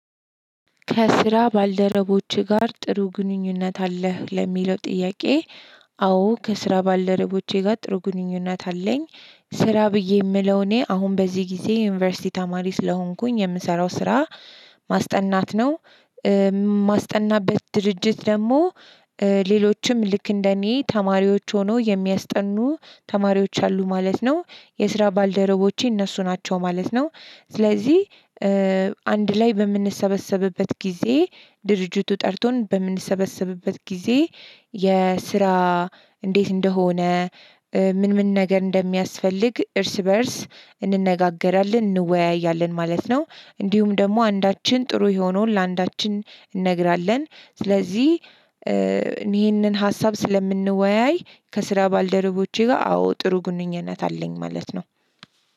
ከስራ ባልደረቦችህ ጋር ጥሩ ግንኙነት አለህ ለሚለው ጥያቄ? አ አዎ ከስራ ባልደረቦቼ ጋር ጥሩ ግንኙነት አለኝ። ስራ ብዬ የምለው እኔ አሁን በዚህ ጊዜ የዩኒቨርሲቲ ተማሪ ስለሆንኩኝ የምሰራው ስራ ማስጠናት ነው። ማስጠናበት ድርጅት ደግሞ ሌሎችም ልክ እንደኔ ተማሪዎች ሆነው የሚያስጠኑ ተማሪዎች አሉ ማለት ነው። የስራ ባልደረቦቼ እነሱ ናቸው ማለት ነው። ስለዚህ አንድ ላይ በምንሰበሰብበት ጊዜ ድርጅቱ ጠርቶን በምንሰበሰብበት ጊዜ የስራ እንዴት እንደሆነ ምን ምን ነገር እንደሚያስፈልግ እርስ በእርስ እንነጋገራለን እንወያያለን። ማለት ነው። እንዲሁም ደግሞ አንዳችን ጥሩ የሆነውን ለአንዳችን እንነግራለን። ስለዚህ ይህንን ሀሳብ ስለምንወያይ። ከስራ ባልደረቦቼ ጋር አዎ ጥሩ ግንኙነት አለኝ ማለት ነው።